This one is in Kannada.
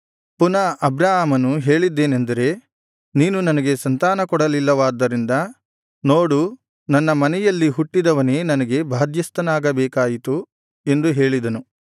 ಪುನಃ ಅಬ್ರಾಮನು ಹೇಳಿದ್ದೇನೆಂದರೆ ನೀನು ನನಗೆ ಸಂತಾನ ಕೊಡಲಿಲ್ಲವಾದ್ದರಿಂದ ನೋಡು ನನ್ನ ಮನೆಯಲ್ಲಿ ಹುಟ್ಟಿದವನೇ ನನಗೆ ಬಾಧ್ಯಸ್ಥನಾಗಬೇಕಾಯಿತು ಎಂದು ಹೇಳಿದನು